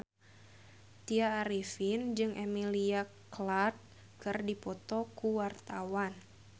Tya Arifin jeung Emilia Clarke keur dipoto ku wartawan